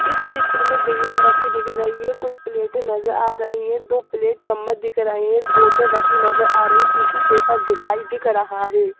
इस चित्र में बिरियान रखी दिख रही है कुछ प्लेटें नजर आ रही हैं दो प्लेट चम्मच दिख रही हैं एक बोतल रखी नजर आ रही टिशू पेपर दिखाई दिख रहा है।